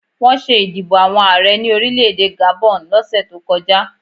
Wọ́n ṣé ìdìbò àwọn Ààrẹ ní orílẹ̀-èdè Gabon lọ́sẹ̀ tó kọjá